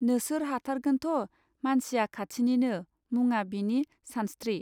नोसोर हाथारगोनथ मानसिया खाथिनिनो मुङा बिनि सानस्त्रि.